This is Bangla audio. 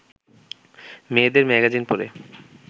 মেয়েদের ম্যাগাজিন পড়ে